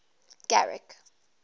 garrick